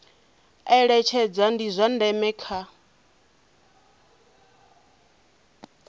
eletshedza ndi zwa ndeme kha